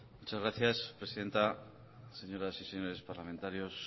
muchas gracias presidenta señoras y señores parlamentarios